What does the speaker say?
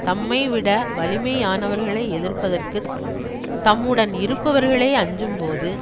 தம்மைவிட வலிமையானவர்களை எதிர்ப்பதற்குத் தம்முடன் இருப்பவர்களே அஞ்சும்போது